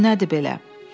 Bu nədir belə?